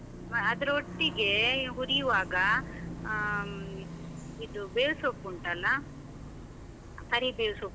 ಅದ್ರ ಒಟ್ಟಿಗೆ ಹುರಿಯುವಾಗ ಆ ಮ್ ಇದು ಬೇವ್ ಸೋಪ್ಪು ಉಂಟಲ್ಲ, ಕರಿಬೇವ್ ಸೋಪ್ಪು.